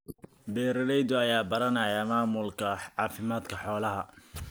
Beeralayda ayaa baranaya maamulka caafimaadka xoolaha.